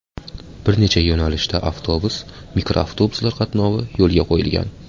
Bir necha yo‘nalishda avtobus, mikroavtobuslar qatnovi yo‘lga qo‘yilgan.